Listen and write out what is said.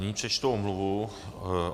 Nyní přečtu omluvu.